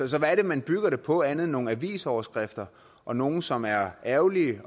så hvad er det man bygger det på andet end nogle avisoverskrifter og nogle som er ærgerlige